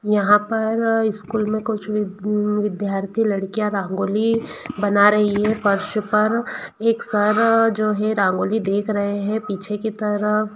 यहां पर स्कूल में कुछ विद्यार्थी लड़कियां रंगोली बना रही है फर्श पर एक सर जो है रंगोली देख रहे हैं पीछे की तरफ--